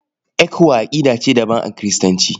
ECWA aƙidar ce daban a Kiristanci.